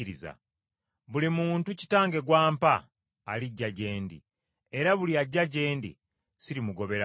Buli muntu Kitange gw’ampa alijja gye ndi, era buli ajja gye ndi sirimugobera bweru.